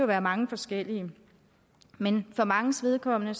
være mange forskellige men for manges vedkommende